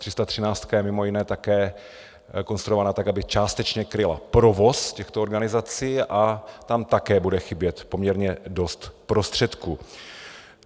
Ta 313 je mimo jiné také konstruována tak, aby částečně kryla provoz těchto organizací, a tam také bude chybět poměrně dost prostředků.